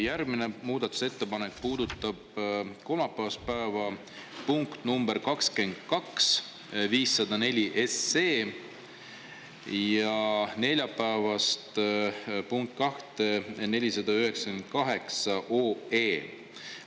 Järgmine muudatusettepanek puudutab kolmapäevast päeva, punkt nr 22, 504 SE, ja neljapäevast punkti 2, 498 OE.